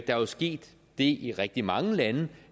jo sket det i rigtig mange lande